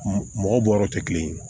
Mɔgɔ bɔ yɔrɔ tɛ kelen ye